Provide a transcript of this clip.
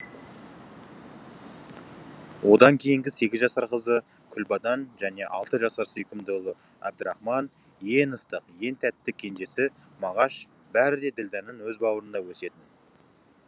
одан кейінгі сегіз жасар қызы күлбадан және алты жасар сүйкімді ұлы әбдірахман ең ыстық ең тәтті кенжесі мағаш бәрі де ділдәның өз бауырында өсетін